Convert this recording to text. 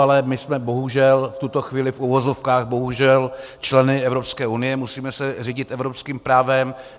Ale my jsme bohužel v tuto chvíli, v uvozovkách bohužel, členy Evropské unie, musíme se řídit evropským právem.